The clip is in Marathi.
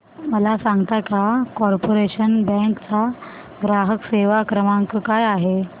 मला सांगता का कॉर्पोरेशन बँक चा ग्राहक सेवा क्रमांक काय आहे